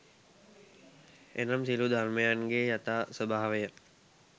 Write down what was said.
එනම් සියලු ධර්මයන්ගේ යථා ස්වභාවය